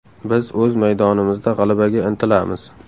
Biz o‘z maydonimizda g‘alabaga intilamiz.